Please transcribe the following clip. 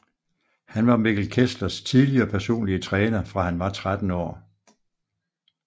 Han var Mikkel Kesslers tidligere personlige træner fra han var 13 år